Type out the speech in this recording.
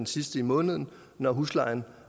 sidste i måneden når huslejen